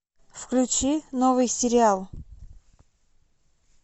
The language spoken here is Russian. включи новый сериал